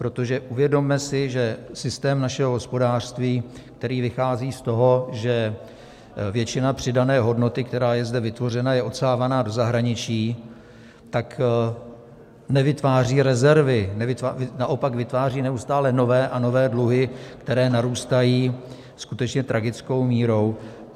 Protože uvědomme si, že systém našeho hospodářství, který vychází z toho, že většina přidané hodnoty, která je zde vytvořena, je odsávána do zahraničí, tak nevytváří rezervy, naopak vytváří neustále nové a nové dluhy, které narůstají skutečně tragickou měrou.